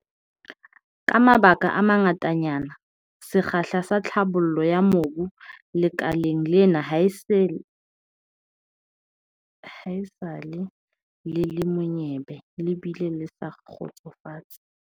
Ka mabaka a mangatanyana, sekgahla sa tlhabollo ya mobu lekaleng lena haesale le le monyebe le bile le sa kgotsofatse.